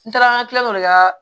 N taara olu ka